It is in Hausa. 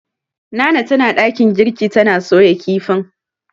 Nana tana dakin girki tana soya kifin.